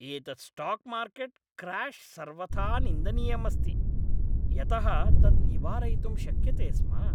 एतत् stock market crash सर्वथा निन्दनीयम् अस्ति, यतः तत् निवारयितुं शक्यते स्म।